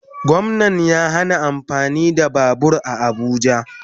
Gwamnan ya hana amfani da babur a abuja